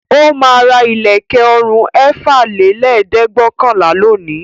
Ó máa ra ilẹ̀kẹ̀ ọrùn ẹ̀fàlélẹ́ẹ̀dẹ́gbẹ̀ọ̀kànlá lónìí.